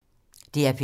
DR P3